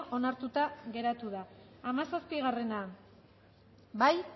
onartuta geratu da hamazazpia bozkatu